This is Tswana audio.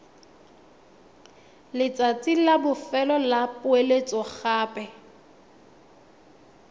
letsatsi la bofelo la poeletsogape